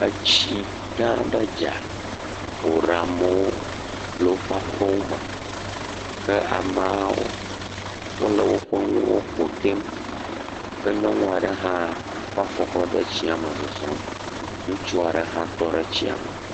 Tsi gã aɖe dza eye woɖe amewo le woƒe aƒe me ke ameawo le woƒe nuwo ƒotem ke nyɔnu aɖe hã kɔ afɔ de tsia me le zɔzɔm. Ŋutsu aɖe hã tɔ ɖe tsia me.